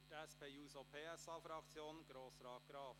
Für die SP-JUSO-PSA-Fraktion Grossrat Graf.